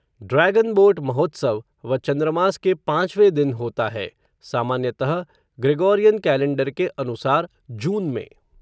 dragon boat महोत्सव, व चंद्रमास के पाँचवे दिन होता है, सामान्यतः, ग्रेगोरियन कैलेंडर के अनुसार, जून में